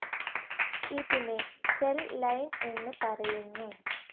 ഇതിനെ cell line എന്ന്പറയുന്നു.